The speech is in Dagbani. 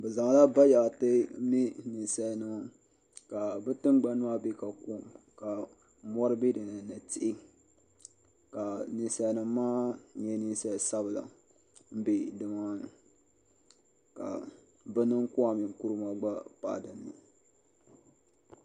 Bizaŋla. bayaɣti. n lee nin salinima. kabi tingbani maa be kakom. ka mɔri be dini ni tihi. ka ninsalinima maa nye ninsali sabla m be dimaani. ka bi mini kawame Nkurumah. gba pahi dini